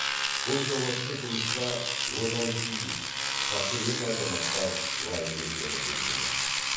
бұл жауапты жұмысқа отансүйгіш патриот азаматтар лайық екені белгілі